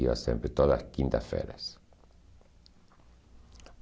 Ia sempre todas as quintas-feiras.